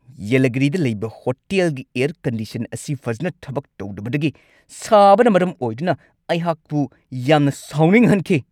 ꯌꯦꯂꯥꯒꯤꯔꯤꯗ ꯂꯩꯕ ꯍꯣꯇꯦꯜꯒꯤ air condition ꯑꯁꯤ ꯐꯖꯅ ꯊꯕꯛ ꯇꯧꯗꯕꯗꯒꯤ ꯁꯥꯕꯅ ꯃꯔꯝ ꯑꯣꯏꯗꯨꯅ ꯑꯩꯍꯥꯛꯄꯨ ꯌꯥꯝꯅ ꯁꯥꯎꯅꯤꯡꯍꯟꯈꯤ ꯫